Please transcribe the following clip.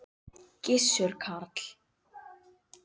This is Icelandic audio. Gissur Karl.